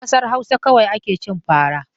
A ƙasar Hausa kawai ake cin fara.